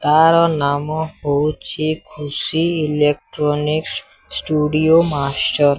ତାର ନାମ ହେଉଛି ଖୁସି ଇଲେକ୍ଟ୍ରୋନିକ୍ସ ଷ୍ଟୁଡିଓ ମାଷ୍ଟର ।